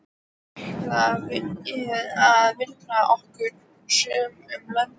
Þaðan ætluðum við að vinna okkur suður um löndin.